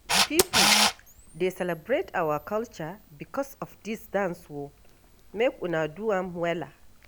Pipo dey celebrate our culture because of dis dance o, make una do am wella.